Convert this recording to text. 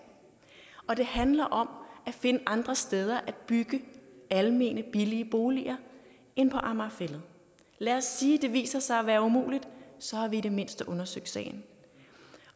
og det handler om at finde andre steder at bygge almene billige boliger end på amager fælled lad os sige at det viser sig at være umuligt så har vi i det mindste undersøgt sagen